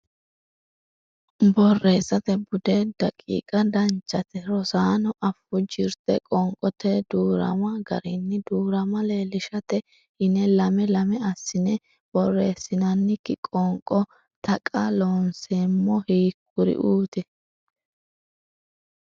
Borreessate Bude daqiiqa Danchate, rosaano afuu jirte Qoonqote Duu’rama garinni duu’rama leellishshate yine lame lame assine borreessinannikki qoonqo Taqa Loonseemmo hiikkuriuuti?